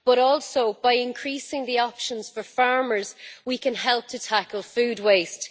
Also, by increasing the options for farmers we can help to tackle food waste.